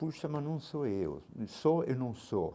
Puxa, mas não sou eu, sou e não sou.